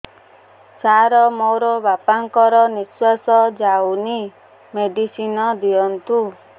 ସାର ମୋର ବାପା ଙ୍କର ନିଃଶ୍ବାସ ଯାଉନି ମେଡିସିନ ଦିଅନ୍ତୁ